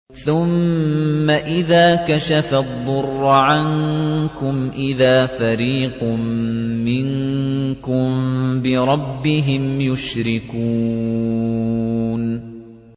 ثُمَّ إِذَا كَشَفَ الضُّرَّ عَنكُمْ إِذَا فَرِيقٌ مِّنكُم بِرَبِّهِمْ يُشْرِكُونَ